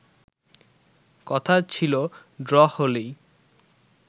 কথা ছিল ড্র হলেই